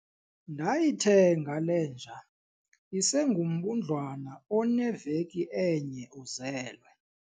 Ndayithenga le nja isengumbundlwana oneveki enye uzelwe.